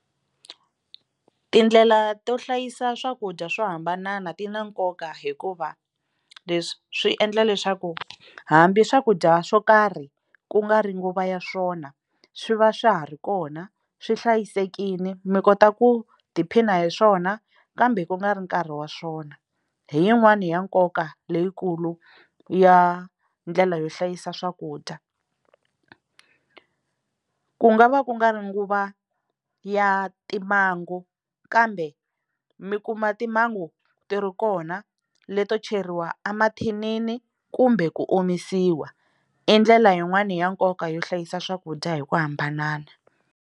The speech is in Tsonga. Tindlela to hlayisa swakudya swo hambana ti na nkoka hikuva leswi swi endla leswaku hambi swakudya swo karhi ku nga ri nguva ya swona swi va swa ha ri kona swi hlayisekile mi kota ku tiphina hi swona kambe ku nga ri nkarhi wa swona hi yin'wani ya nkoka leyikulu ya ndlela yo hlayisa swakudya ku nga va ku nga ri nguva ya timhangu kambe mi kuma timhangu ti ri kona leto cheriwa emathinini kumbe ku omisiwa i ndlela yin'wani ya nkoka yo hlayisa swakudya hi ku hambana.